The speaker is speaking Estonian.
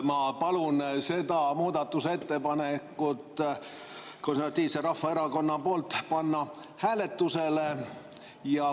Ma palun seda muudatusettepanekut Konservatiivse Rahvaerakonna poolt panna hääletusele.